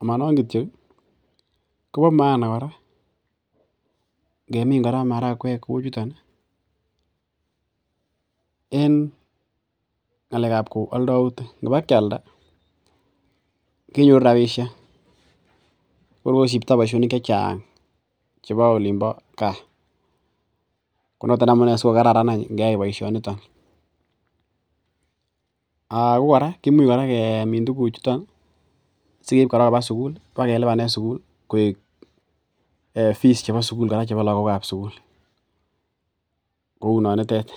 amonon kityok kobo maana kora ngemin kora marakwek kou chuton ih en ng'alek ab kou aldoutik ngoba kialda kenyoru rapisiek ko kor kosipto boisionik chechang chebo olin bo gaa konoton amunee sikokararan any ih ngyai boisioniton ako kora kimuch kora kemin tuguk chuton sikeib kora koba sugul sikelipanen sugul koik fees chebo lakok ab sukul kounonitet